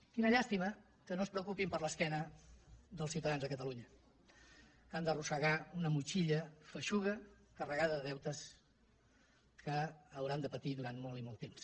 quina llàstima que no es preocupin per l’esquena dels ciutadans de catalunya que han d’arrossegar una motxilla feixuga carregada de deutes que hauran de patir durant molt i molt temps